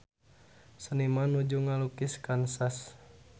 Seniman nuju ngalukis Kansas